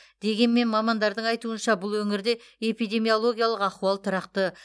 дегенмен мамандардың айтуынша бұл өңірде эпидемиологиялық ахуал тұрақты